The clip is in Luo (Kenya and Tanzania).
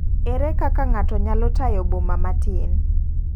Ere kaka ngato nyalo tayo boma matin?